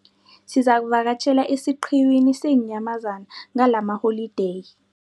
Sizakuvakatjhela esiqhiwini seenyamazana ngalamaholideyi.